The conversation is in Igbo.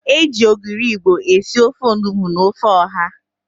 E ji ogiri Igbo esi ofe onugbo na ofe ọ̀há.